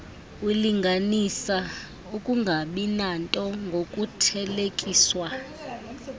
ulinganisa ukungabinanto ngokuthelekiswa